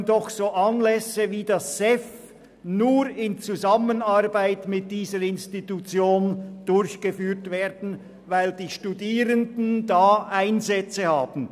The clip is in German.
So können doch einige Anlässe nur in Zusammenarbeit mit dieser Institution durchgeführt werden, weil die Studierenden dort zum Einsatz kommen.